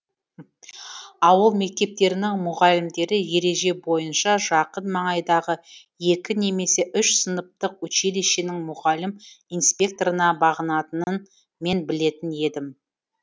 ауыл мектептерінің мұғалімдері ереже бойынша жақын маңайдағы екі немесе үш сыныптық училищенің мұғалім инспекторына бағынатынын мен білетін едім